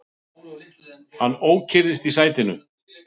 Hann ókyrrðist í sætinu.